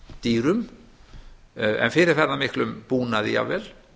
dýrum en fyrir þennan miklum búnaði jafnvel